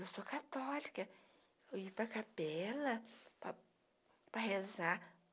Eu sou católica, eu ia para capela para para rezar.